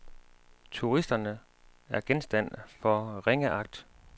Turisterne er genstand for ringeagt.